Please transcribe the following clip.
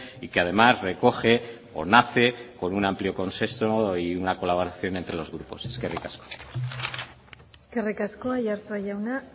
y que además recoge o nace con un amplio consenso y una colaboración entre los grupos eskerrik asko eskerrik asko aiartza jauna